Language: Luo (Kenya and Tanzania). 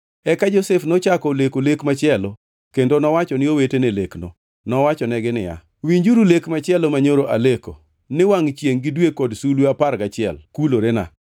Eka Josef nochako oleko lek machielo, kendo nowacho ne owetene lekno. Nowachonegi niya, “Winjuru lek machielo manyoro aleko ni wangʼ chiengʼ gi dwe kod sulwe apar gachiel kulorena.”